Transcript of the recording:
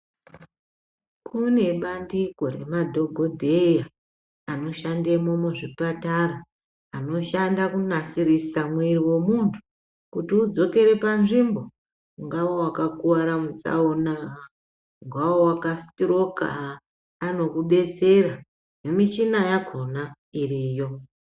Kune bandiko nemadhokodheya anoshandemo muzvipatara, anoshanda kunasirisa muiri wemuntu kuti udzokere panzvimbo ungave wakakuvara patsaona, ungave wakasitiroka anokudetsera nemichina yakona iriyo.